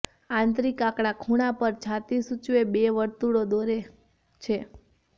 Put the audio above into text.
આંતરિક આંકડા ખૂણા પર છાતી સૂચવે બે વર્તુળો દોરે છે